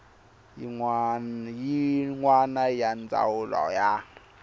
yin wana ya ndzawulo ya